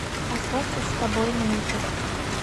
остаться с тобой на ютуб